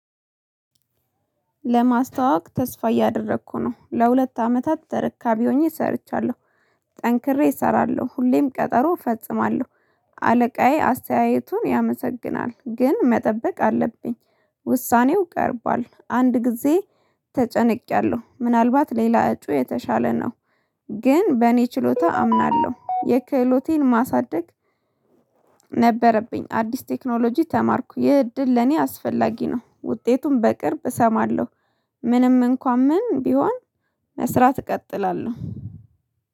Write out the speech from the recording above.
ለማስተዋወቅ ተስፋ እያደረኩ ነው ለሁለት አመታት ተረካቢ ሆኜ ሰርቻለሁ። ጠንክሬ እሰራለሁ ሁሌም ቀጠሮ እፈጽማለሁ። አለቃዬ አስተያየቱን ያመሰግናል ግን መጠበቅ አለብኝ። ውሳኔው ቀርቧል። አንድ ጊዜ ተጨንቄያለሁ ምናልባት ሌላ እጩ የተሻለ ነው። ግን በእኔ ችሎታ አምናለሁ የክህሎቴን ማሳደግ። ነበረብኝ አዲስ ቴክኖሎጂ ተማርኩ ይህ እድል ለኔ አስፈላጊ ነው። ውጤቱን በቅርብ እሰማለሁ። ምንም እንኳን ምን ቢሆን መስራት እቀጥላለሁ።